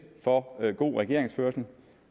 for god regeringsførelse